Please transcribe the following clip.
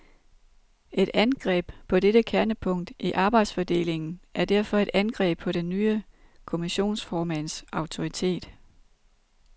Et angreb på dette kernepunkt i arbejdsfordelingen er derfor et angreb på den nye kommissionsformands autoritet.